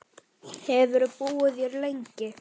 Hefurðu búið hér lengi?